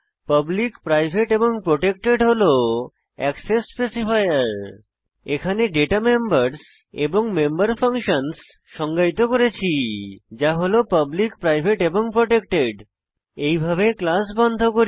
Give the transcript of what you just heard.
public private এবং protected হল access specifier এখানে দাতা মেম্বার্স এবং মেম্বার ফাংশনস সংজ্ঞায়িত করেছি যা হল পাবলিক প্রাইভেট এবং প্রটেক্টেড এইভাবে ক্লাস বন্ধ করি